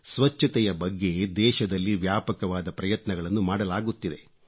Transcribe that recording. ಸ್ವಚ್ಛತೆಯ ಬಗ್ಗೆ ದೇಶದಲ್ಲಿ ವ್ಯಾಪಕವಾದ ಪ್ರಯತ್ನಗಳನ್ನು ಮಾಡಲಾಗುತ್ತಿದೆ